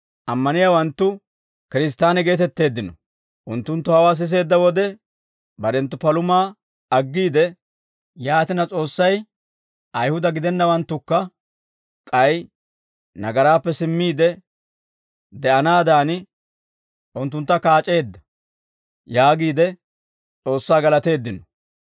Unttunttu hawaa siseedda wode barenttu palumaa aggiide, «Yaatina, S'oossay Ayihuda gidennawanttukka k'ay nagaraappe simmiide de'anaadan, unttuntta kaac'eedda» yaagiide S'oossaa galateeddino.